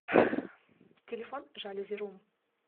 телефон жалюзи рум